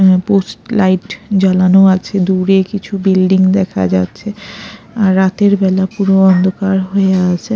উম post light জ্বলানো আছে দূরে কিছু বিল্ডিং দেখা যাচ্ছে আর রাতের বেলা পুরো অন্ধকার হয়ে আছে।